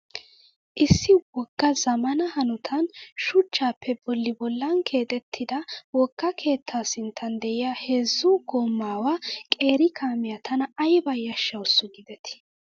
Issi wogga zammaana hanotan shuchchappe bolli bollan keexettida wogga keetta sinttan de'iyaa heezzu goomaawa qeeri kamiyaa tana ayiba yashshawusu giideti.